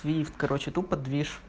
твифт короче тупо движ